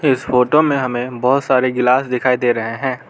इस फोटो में हमें बहुत सारे गिलास दिखाई दे रहे हैं।